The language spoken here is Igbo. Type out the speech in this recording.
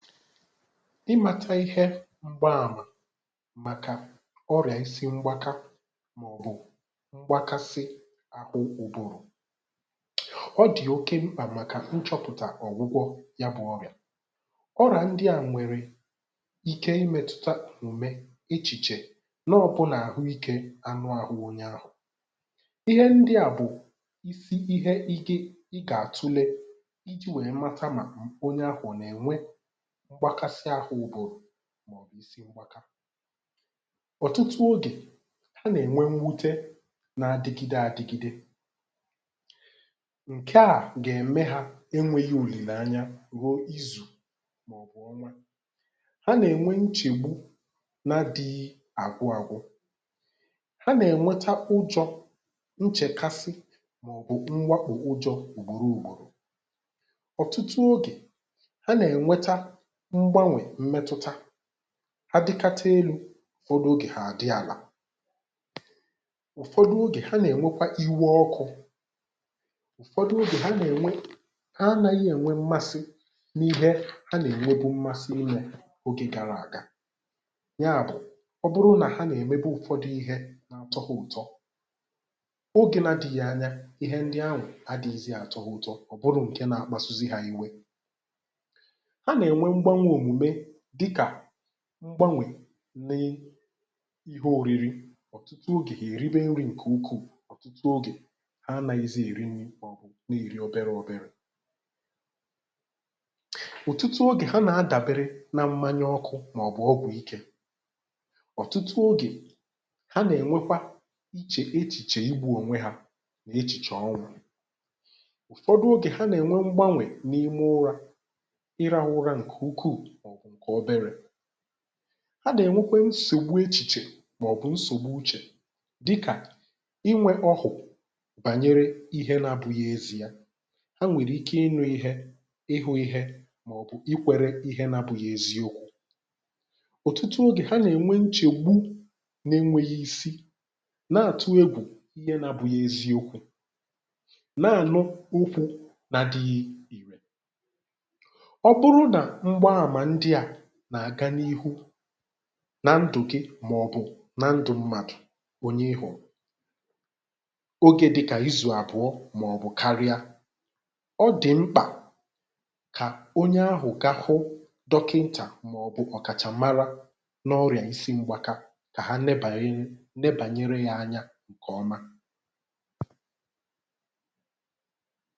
ịmāta ịhẹ mgbamà màkà ọrị̀à ịsị mgbaka, mà ọ̀ bụ̀ mgbakasị ahụ ụbụrụ̀. ọ dị̀ oke mkpà màkà ị chọ̄pụ̀tà ọ̀gwụgwọ ya bụ ọrị̀à. ọrị̀à ndị à nwẹ̀rẹ̀ ike ị mẹtụta òmùme, echìchè, na ọ bụ nà àhụ ikē anụ ahụ onye ahụ̀. ịhẹ ndịà bụ̀ ịhe ị gà àtule ijī wẹ mata mà onye ahụ̀ ọ̀ nà ẹ̀nwẹ mgbakasị ahụ ụbụrụ̀, mà ọ̀ bụ̀ ịsị mgbaka. ọ̀tụtụ ogè, ha nà ẹnwẹ mwute na adịgịde adigide. ǹkẹ à gà ème ha ẹnwẹ̄ghị òlìlèanya ruo izù, mà ọ̀ bụ̀ ọnwa. a nà ènwe nchègbu, na adighi àgwụ agwụ. a nà ènweta ụjọ̄, nchẹ̀kasị, mà ọ̀ bụ̀ nwẹpụ̀ ụjọ̄ ùgbòro ùgbòrò. ọtụtụ ogè, a nà ẹ̀nwẹta mgbanwè mmẹtụta, adịkata elū, obere ogè à dị àlà. ụ̀fọ̀dụ ogè, ha nà ẹ̀nwẹkwa iwe ọkụ̄. ụ̀fọ̀dụ ogè, ha nà ènwe, ha anaghị ẹ̀nwẹ mmasị ha nà ẹ̀nwẹbụ mmasị ịmẹ n’ogē gara àga. yà bụ̀, ọ bụrụ nà ha nà ẹ̀mẹbụ ụ̀fọdụ ịhẹ na atọ ha ụ̀tọ, oge na adịghị anya, ịhẹ ndị ahụ̀ adịghizị atọ ha ụ̀tọ, ọ ǹkẹ na akpasuzi hā iwe. a nà ẹ̀nwẹ mgbanwē òmùme, dịkà mgbanwē na ịhẹ oriri. ọ̀tụtụ ogè, hà èriwe nrī ǹkẹ̀ ukwù, ọ̀tụtụ ogè, hà anaghịzị èri nrī, mà ọ̀ bụ̀ nà èri ọbẹrẹ ọbẹrẹ. ọ̀tụtụ ogè, hà nà adàbere na mmanya ọkụ̄, mà ọ̀ bụ̀ ọgwụ ikē. ọ̀tụtụ ogè, hà nà ènwekwa ichè echìchè igbū ònwe ha, echìchè ọnwụ̄. ụ̀fọdụ ogè, hà nà ẹ̀nwẹ mgbanwè n’ime ụrā, ịrahụ ụra ǹkẹ̀ ukwù mà ọ̀ bụ̀ ọbẹrẹ̄. a nà ẹnwẹkwẹ nsògbu echìchè, mà ọ̀ bụ̀ nsògbu uchè, dịkà ịnwẹ ọhụ̀ bànyere ihe na abụ̄ghi ezī a. ẹ nwẹ̀rẹ̀ ike ịhụ̄ ịhẹ, ịnụ̄ ịhẹ, mà ọ̀ bụ̀ ikwẹ̄rẹ ịhẹ na abụghị eziokwū. ụ̀fọdụ ogè, hà nà ẹ̀nwẹ nchẹ̀gbu na ẹnwẹghi isi, nà àtụ egwù ịhẹ na abụghị ezi okwū, nà ànụ okwu na adịghị. ọ bụ nà mgbamà ndịà nà àga n’ihu nà ndụ̀ gị mà ọ̀ bụ̀ nan dụ mmadù onye ịhụ̀, ogē dịkà izù àbụ̀ọ mà ọ̀ bụ karịa, ọ dị̀ mkpà kà onye ahụ̀ ga hụ dọkịntà, mà ọ̀ bụ̀ ọ̀kàchàmara n’ọrị̀à isi mgbaka, kà ha nebànye, nebànyere ha anya ǹkẹ̀ ọma.